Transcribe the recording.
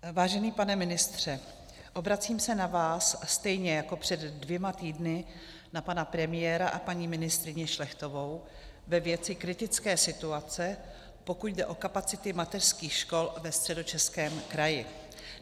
Vážený pane ministře, obracím se na vás stejně jako před dvěma týdny na pana premiéra a paní ministryni Šlechtovou ve věci kritické situace, pokud jde o kapacity mateřských škol ve Středočeském kraji.